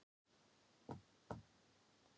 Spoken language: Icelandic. Hún er alveg að detta í sundur, barnið.